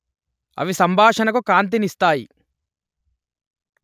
అవి సంభాషణకు కాంతినిస్తాయి